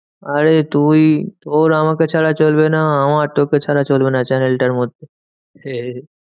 আরে তুই তোর আমাকে ছাড়া চলবে না আমার তোকে ছাড়া চলবে না channel টার মধ্যে। সেই